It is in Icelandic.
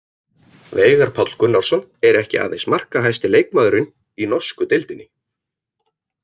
Veigar Páll Gunnarsson er ekki aðeins markahæsti leikmaðurinn í norsku deildinni.